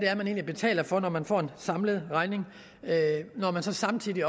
er man betaler for når man får en samlet regning når man så samtidig